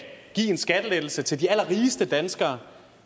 give en skattelettelse til de allerrigeste danskere